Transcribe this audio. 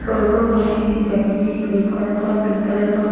टंगे हुए है डमी में है एक रेड कलर का पिंक कलर का--